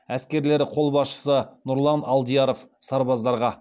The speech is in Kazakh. әскерлері қолбасшысы нұрлан алдияров сарбаздарға